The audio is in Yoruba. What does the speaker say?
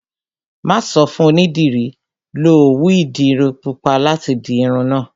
Mà á sọ fún onídìrí, 'Lo òwú ìdiru pupa láti di irun náà'